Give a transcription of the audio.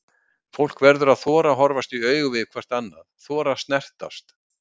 Fólk verður að þora að horfast í augu hvert við annað, þora að snertast.